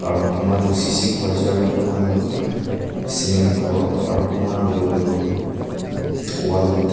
aro koma toh sese khor ase aro koma kan toh cement khor aro koma kan toh etooo wall toh.